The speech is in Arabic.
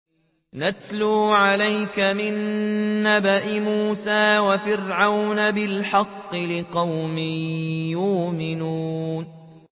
نَتْلُو عَلَيْكَ مِن نَّبَإِ مُوسَىٰ وَفِرْعَوْنَ بِالْحَقِّ لِقَوْمٍ يُؤْمِنُونَ